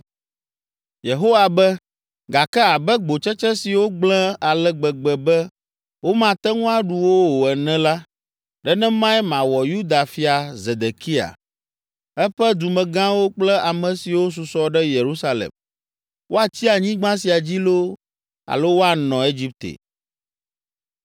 “Yehowa be, ‘Gake abe gbotsetse siwo gblẽ ale gbegbe be womate ŋu aɖu wo o ene la, nenemae mawɔ Yuda fia Zedekia, eƒe dumegãwo kple ame siwo susɔ ɖe Yerusalem, woatsi anyigba sia dzi loo, alo woanɔ Egipte.